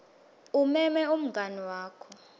umeme umngani wakho